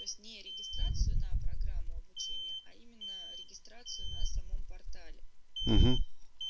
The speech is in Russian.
во сне регистрацию на программу обучения а именно регистрацию на самом портале